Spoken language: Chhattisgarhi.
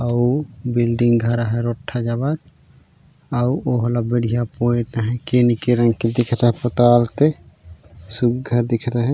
अउ बिल्डिंग घर ह रोठठ्ठा जबर अउ ओहेला बढ़िया पोएत आहय केन के रंग के पोताल जबे सुघ्घर दिखत अ है।